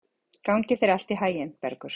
Gangi þér allt í haginn, Bergur.